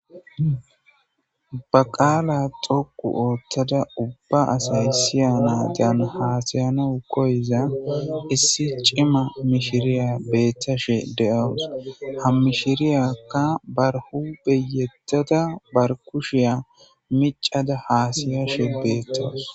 Ba qaala dhuqqu oththada ubba asay siyanadan hassa'iza koyiza issi cimma mishiriya bettashe de'awus.ha mishiriyaka ba huphe yeddada ba kushiya miccada hassa'ashe betawus.